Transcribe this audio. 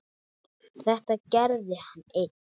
Þetta gerði hann einn.